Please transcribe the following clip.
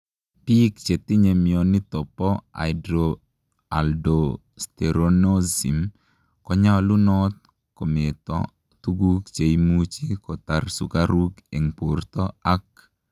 Piik chetinyee mionitok poo hypoaldosteronism konyalunoot kometoo tuguk cheimuchii kotaar sukaruk eng portoo ak